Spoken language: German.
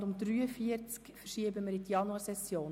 Das Traktandum 43 verschieben wir auf die Januarsession.